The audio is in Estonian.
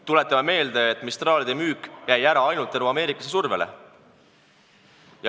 Tuletame meelde, et Mistralide müük jäi ära tänu ameeriklaste survele.